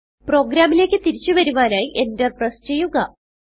പ്രോഗ്രാമിലേക്ക് തിരിച്ചു വരുവാനായി enter പ്രസ് ചെയ്യുക